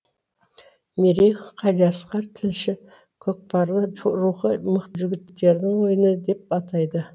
мерей қалиасқар тілші көкпарлы рухы мықты жігіттердің ойыны деп атайды